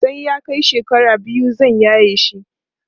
sai ya Kai shekara biyu zan yaye shi